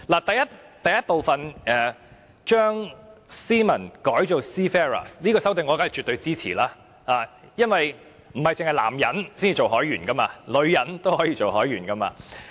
第1部將 "Seamen" 改為 "Seafarers"， 這項修訂我當然絕對支持，因為不單是男人才做海員，女人也可以做海員。